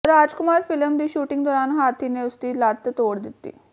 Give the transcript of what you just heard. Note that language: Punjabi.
ਰਾਜਕੁਮਾਰ ਫਿਲਮ ਦੀ ਸ਼ੂਟਿੰਗ ਦੌਰਾਨ ਹਾਥੀ ਨੇ ਉਸਦੀ ਲੱਤ ਤੋੜ ਦਿੱਤੀ